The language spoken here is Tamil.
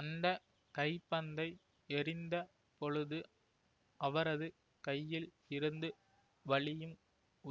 அந்த கைப்பந்தை எறிந்த பொழுது அவரது கையில் இருந்து வழியும்